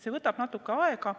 See võtab natukene aega.